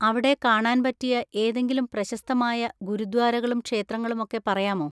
അവിടെ കാണാൻ പറ്റിയ ഏതെങ്കിലും പ്രശസ്തമായ ഗുരുദ്വാരകളും ക്ഷേത്രങ്ങളും ഒക്കെ പറയാമോ?